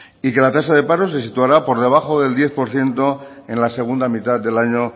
y que la tasa de paro se situará por debajo del diez por ciento en la segunda mitad del año